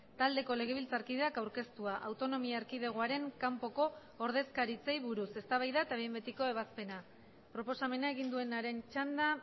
taldeko legebiltzarkideak aurkeztua autonomia erkidegoaren kanpoko ordezkaritzei buruz eztabaida eta behin betiko ebazpena proposamena egin duenaren txanda